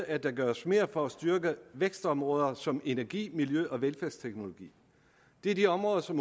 at der gøres mere for at styrke vækstområder som energi miljø og velfærdsteknologi det er de områder som